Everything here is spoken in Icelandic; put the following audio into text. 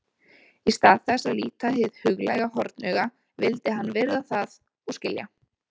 Í stað þess að líta hið huglæga hornauga vildi hann virða það og skilja.